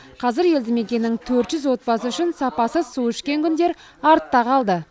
қазір елді мекеннің төрт жүз отбасы үшін сапасыз су ішкен күндер артта қалды